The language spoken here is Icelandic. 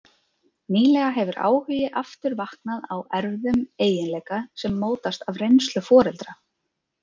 Nýlega hefur áhugi aftur vaknað á erfðum eiginleika sem mótast af reynslu foreldra.